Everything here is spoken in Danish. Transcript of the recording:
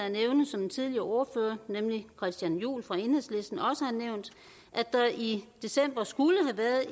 at nævne som en tidligere ordfører nemlig christian juhl fra enhedslisten også har nævnt at der i december skulle